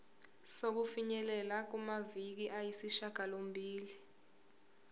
sokufinyelela kumaviki ayisishagalombili